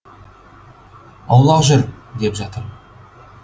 аулақ жүр деп жатыр